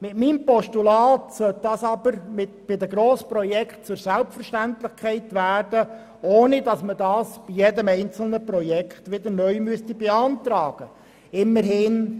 In meinem Postulat sollte dies bei den Grossprojekten zur Selbstverständlichkeit werden, ohne dass es für jedes einzelne Projekt neu beantragt werden muss.